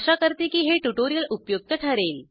आशा करते की हे ट्युटोरिअल उपयुक्त ठरेल